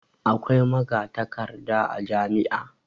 Akwai magatakarda a jami'a.